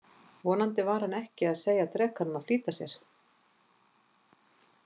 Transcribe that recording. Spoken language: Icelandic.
Vonandi var hann ekki að segja drekanum að flýta sér.